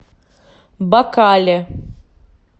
бакале